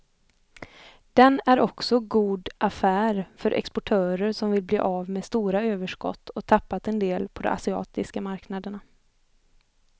Den är också god affär för exportörer som vill bli av med stora överskott och tappat en del på de asiatiska marknaderna.